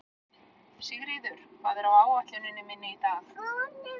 Sigríður, hvað er á áætluninni minni í dag?